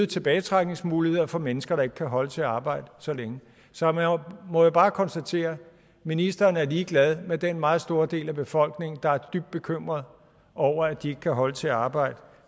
tilbagetrækningsmuligheder for mennesker der ikke kan holde til at arbejde så længe så jeg må jo bare konstatere at ministeren er ligeglad med den meget store del af befolkningen der er dybt bekymret over at de ikke kan holde til at arbejde